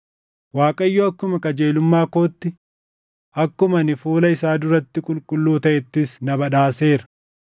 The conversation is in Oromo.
Waaqayyo akkuma qajeelumma kootti, akkuma ani fuula isaa duratti qulqulluu taʼettis na badhaaseera.